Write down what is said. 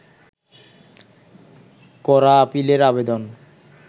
করা আপিলের আবেদন